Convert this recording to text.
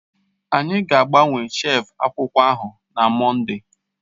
Anyi gaagbawe shef akwụkwọ ahụ na Mọnde